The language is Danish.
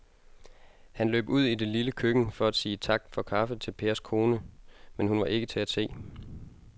Han løb ud i det lille køkken for at sige tak for kaffe til Pers kone, men hun var ikke til at se.